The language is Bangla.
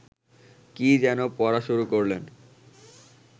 কী যেন পড়া শুরু করলেন